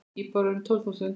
Íbúar eru um tólf þúsund.